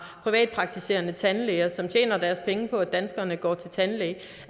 privatpraktiserende tandlæger som tjener deres penge på at danskerne går til tandlæge